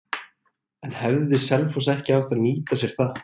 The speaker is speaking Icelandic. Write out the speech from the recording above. En hefði Selfoss ekki átt að nýta sér það?